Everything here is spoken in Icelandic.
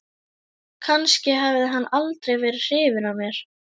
Kannski hafði hann aldrei verið hrifinn af mér.